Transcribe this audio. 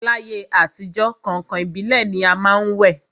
L'ayé àtijọ́, kàǹkàn ìbílẹ̀ ni a má ń wẹ̀